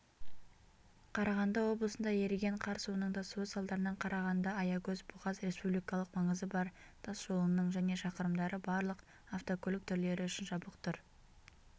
қарағанды облысында еріген қар суының тасуы салдарынан қарағанды-аягөз-бұғаз республикалық маңызы бар тасжолының және шақырымдары барлық автокөлік түрлері үшін жабық тұр